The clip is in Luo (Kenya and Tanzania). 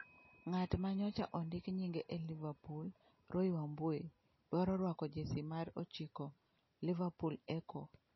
Ng'at ma nyocha ondik nyinge e Liverpool, Roy Wambui , dwaro rwako Jersey mar ochiko (Liverpool Echo).